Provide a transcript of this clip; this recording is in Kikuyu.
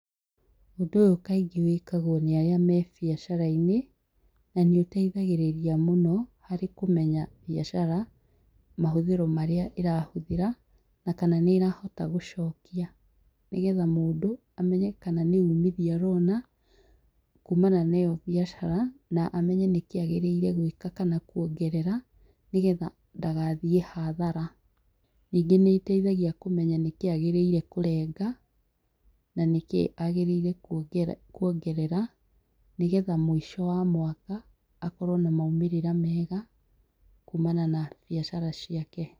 Ũndũ ũyũ kaingĩ wĩkagwo nĩ arĩa me biacara-inĩ, na nĩ ũteithagĩrĩria mũno harĩ kũmenya biacara, mahũthĩro marĩa ĩrahũthĩra, na kana nĩ ĩrahota gũcokia, nĩ getha mũndũ amenye kana nĩ umithio arona kumana na ĩyo biacara, na amenye nĩkĩ agĩrĩirwo gwĩka kana kuongerera, nĩgetha ndagathiĩ hathara. Ningĩ nĩteithagia kũmenya nĩkĩ agĩrĩire kũrenga na nĩkĩ agĩrĩire kuongerera nĩgetha mũico wa mwaka, akorwo na maumĩrĩra mega, kumana na biacara ciake.